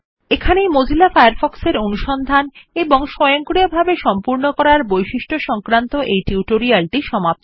এখানেই Mozilla Firefox এর অনুসন্ধান এবং স্বয়ংক্রিয়ভাবে সম্পূর্ণ করার বৈশিষ্ট্য সংক্রান্ত এই টিউটোরিয়ালটি সমাপ্ত হলো